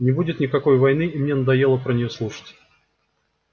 не будет никакой войны и мне надоело про неё слушать